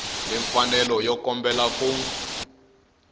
ni mfanelo yo kombela ku